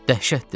Dəhşətdir.